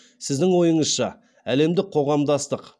сіздің ойыңызша әлемдік қоғамдастық